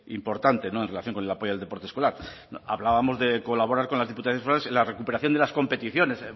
importante en relación con el apoyo al deporte escolar hablábamos de colaborar con las diputaciones forales en la recuperación de las competiciones